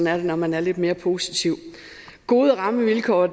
er det når man er lidt mere positiv gode rammevilkår